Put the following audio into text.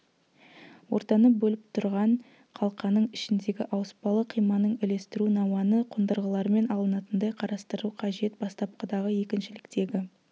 ортаны бөліп тұрған қалқаның ішіндегі ауыспалы қиманың үлестіру науаны қондырғылармен алынатындай қарастыру қажет бастапқыдағы екіншіліктегі